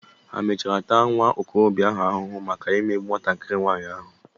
Hà mechara taa nwa okorobia ahụ ahụhụ maka imegbu nwatakiri nwaanyi ahụ?